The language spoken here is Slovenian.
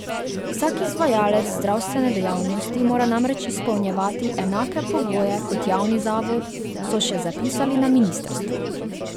Vsak izvajalec zdravstvene dejavnosti mora namreč izpolnjevati enake pogoje kot javni zavod, so še zapisali na ministrstvu.